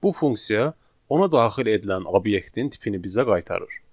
Bu funksiya ona daxil edilən obyektin tipini bizə qaytarır.